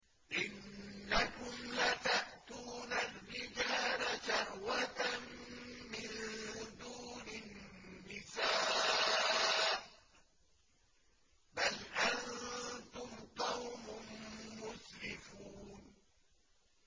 إِنَّكُمْ لَتَأْتُونَ الرِّجَالَ شَهْوَةً مِّن دُونِ النِّسَاءِ ۚ بَلْ أَنتُمْ قَوْمٌ مُّسْرِفُونَ